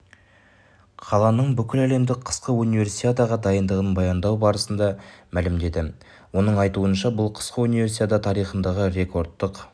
қаланың бүкіләлемдік қысқы универсиадаға дайындығын баяндау барысында мәлімдеді оның айтуынша бұл қысқы универсиада тарихындағы рекордтық